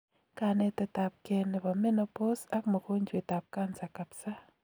Kanetet ap key nebo menopause ak mogonjwet ab cancer kabsa